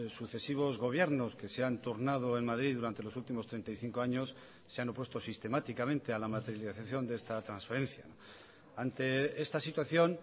sucesivos gobiernos que se han turnado en madrid durante los últimos treinta y cinco años se han opuesto sistemáticamente a la materialización de esta transferencia ante esta situación